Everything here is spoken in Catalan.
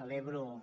celebro